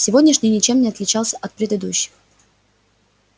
сегодняшний ничем не отличался от предыдущих